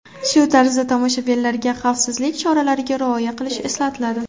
Shu tarzda tomoshabinlarga xavfsizlik choralariga rioya qilish eslatiladi.